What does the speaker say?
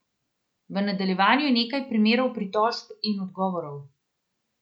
V nadaljevanju je nekaj primerov pritožb in odgovorov.